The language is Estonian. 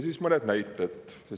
Mõned näited.